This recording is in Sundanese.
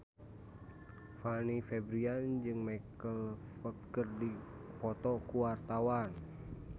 Fanny Fabriana jeung Michael Flatley keur dipoto ku wartawan